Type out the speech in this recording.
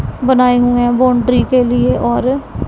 बनाए हुए हैं बाउंड्री के लिए और--